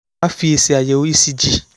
á fi èsì àyẹ̀wò ecg